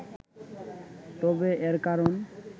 তবে এর কারণ